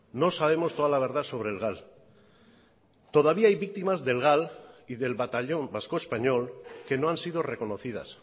no sabemos toda la verdad sobre el gal todavía hay víctimas del gal y del batallón vasco español que no han sido reconocidas